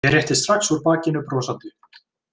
Ég rétti strax úr bakinu, brosandi.